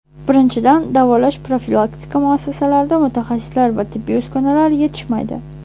Birinchidan, davolash profilaktika muassasalarida mutaxassislar va tibbiy uskunalar yetishmaydi.